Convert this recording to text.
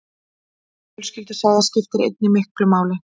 Fjölskyldusaga skiptir einnig miklu máli.